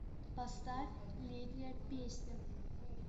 поставь летняя песня